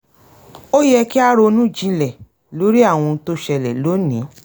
ó yẹ kí a ronú jinlẹ̀ lórí àwọn ohun tó ṣẹlẹ̀ lónìí